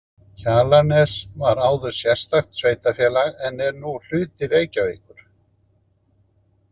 Kjalarnes var áður sérstakt sveitarfélag en er nú hluti Reykjavíkur.